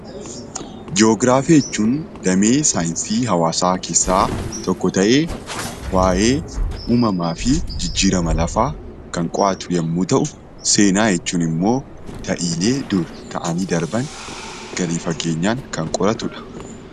Ji'ograafii jechuun damee saayinsii hawaasaa keessaa tokko ta'ee waa'ee uumamaa fi jijjiirama lafaa kan qo'atu yemmuu ta'u seenaa jechuun immoo ta'iilee dur ta'anii darban gadi fageenyaan kan qoratudha.